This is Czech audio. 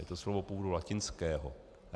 Je to slovo původu latinského.